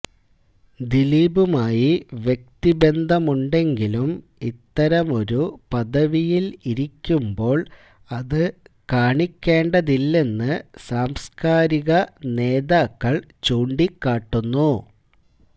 ദിലീപുമായി വ്യക്തി ബന്ധമുണ്ടെങ്കിലും ഇത്തരമൊരു പദവിയിൽ ഇരിക്കുമ്പോൾ അതു കാണിക്കേണ്ടതില്ലെന്നു സാംസ്കാരിക നേതാക്കൾ ചൂണ്ടിക്കാട്ടുന്നു